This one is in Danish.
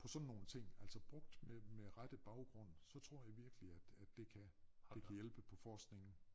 På sådan nogen ting altså brugt med med rette baggrund så tror jeg virkelig at at det kan det kan hjælpe på forskningen